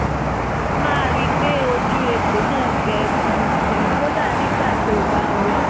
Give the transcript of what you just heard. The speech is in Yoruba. máa rí i pé ojú egbò náà gbẹ fúrúfúrú kódà nígbà tó o bá ń wẹ̀